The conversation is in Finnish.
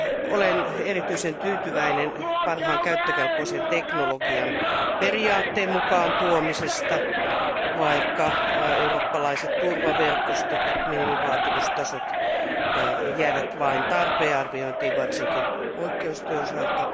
Olen erityisen tyytyväinen parhaan käyttökelpoisen teknologian periaatteen mukaan tuomisesta, vaikka eurooppalaiset turvaverkostot, minimivaatimustasot, jäivät vain tarvearviointiin, varsinkin poikkeusten osalta.